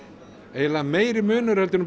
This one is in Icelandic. eiginlega meiri munur en